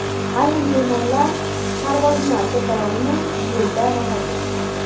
Ayrim bemorlar parvozni ko‘tara olmay, yo‘lda vafot etdi.